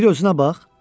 Bir özünə bax.